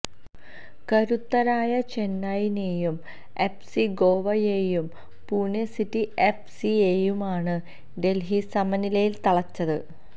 കരുത്തരായ ചെന്നൈയിനെയും F C ഗോവയെയും പൂനെ സിറ്റി എഫ് സിയെയുമാണ് ഡെല്ഹി സമനിലയില് തളച്ചത്